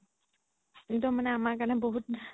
একদম আমাৰ কাৰণে মানে বহুত